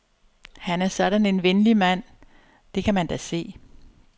Han er sådan en venlig mand, det kan man da se.